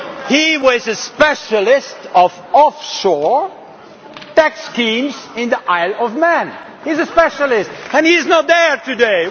He was a specialist in offshore tax schemes in the Isle of Man he is a specialist and he is not here today!